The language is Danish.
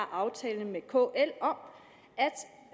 aftale med kl om